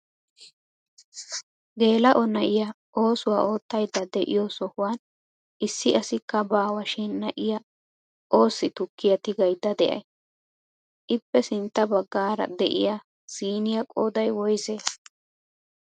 Geela'o na'iyaa oosuwaa oottayda de'iyoo sohuwaan issi asikka baawashin na'iyaa oossi tukkiyaa tigaydda de'ay? Ippe sintta baggaara de'iyaa siiniyaa qooday woysee?